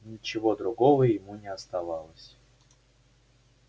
ничего другого ему не оставалось